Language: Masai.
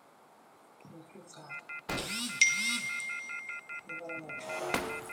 iindim aiteleiki irkuniyiani shumata irkulie amu meinyal irpaek eyieu ake neena inkutukie esidai